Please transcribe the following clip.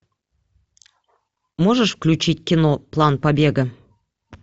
можешь включить кино план побега